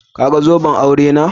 Ka gan zoben aure na?